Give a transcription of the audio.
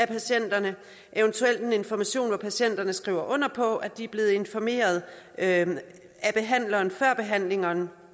patienterne eventuelt information hvor patienterne skriver under på at de er blevet informeret af af behandleren før behandlingen